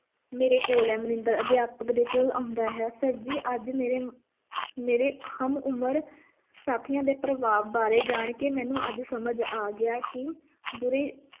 ਮੇਰੇ ਕੋਲ ਹੈ ਮਨਿੰਦਰ ਅਧਿਆਪਕ ਦੇ ਕੋਲ ਆਉਂਦਾ ਹੈ sir ਜੀ ਅੱਜ ਮੇਰੇਮੇਰੇ ਹਮ-ਉਮਰ ਸਾਥੀਆਂ ਦੇ ਪ੍ਰਭਾਵ ਬਾਰੇ ਜਾਣਕੇ ਮੈਨੂੰ ਅੱਜ ਸਮਝ ਆ ਗਿਆ ਕਿ ਬੁਰੀ